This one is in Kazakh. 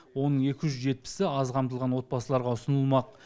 оның екі жүз жетпісі аз қамтылған отбасыларға ұсынылмақ